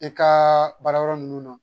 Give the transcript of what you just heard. I kaa baarayɔrɔ ninnu na